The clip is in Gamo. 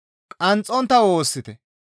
Qanxxontta woossite.